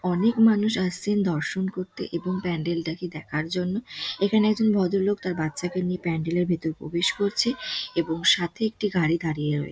অনেক মানুষ আসছেন দর্শন করতে এবং প্যান্ডেল -টাকে দেখার জন্য | এখানে একজন ভদ্রলোক তার বাচ্চাকে নিয়ে প্যান্ডেল -র ভেতরে প্রবেশ করছে | এবং সাথে একটি গাড়ি দাঁড়িয়ে রয়েছে |